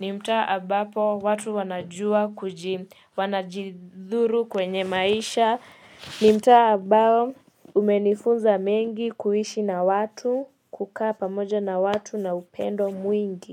Ni mtaa ambapo watu wanajua kuji wanajidhuru kwenye maisha. Ni mtaa ambapo umenifunza mengi kuishi na watu kukaa pamoja na watu na upendo mwingi.